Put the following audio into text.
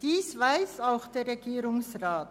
Dies weiss auch der Regierungsrat.